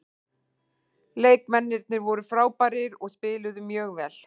Leikmennirnir voru frábærir og spiluðu mjög vel.